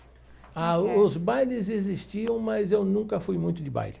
Ah, o os bailes existiam, mas eu nunca fui muito de baile.